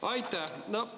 Aitäh!